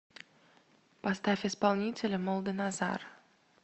поставь исполнителя молданазар